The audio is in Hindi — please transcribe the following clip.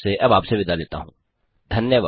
धन्यवाद